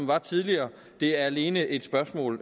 var tidligere det er alene et spørgsmål